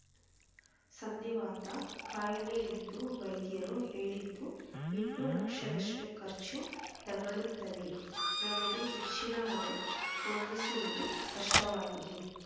ಸಂಧಿವಾತ ಖಾಯಿಲೆ ಎಂದು ವೈಧ್ಯರು ಹೇಳಿದ್ದು ಇನ್ನೂ ಲಕ್ಷದಷ್ಟು ಖರ್ಚು ತಗಲುತ್ತದೆ ನಮಗೆ ಹೆಚ್ಚಿನ ಹಣ ಹೊಂದಿಸುವುದು ಕಷ್ಟವಾಗಿದೆ